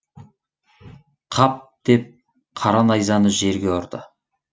қап деп қара найзаны жерге ұрды